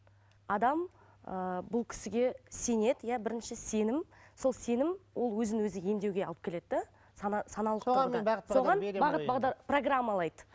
адам ыыы бұл кісіге сенеді иә бірінші сенім сол сенім ол өзін өзі емдеуге алып келеді де саналық соған бағыт бағдар программалайды